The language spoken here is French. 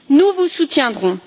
Nous vous soutiendrons.